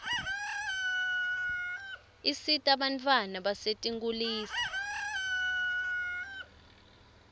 isita bantfwana basetinkulisa